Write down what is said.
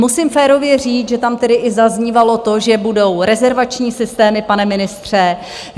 Musím férově říct, že tam tedy i zaznívalo to, že budou rezervační systémy, pane ministře.